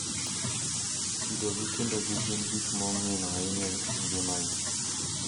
Kido gi timbegi gin gik mongino ahinya e ngimagi.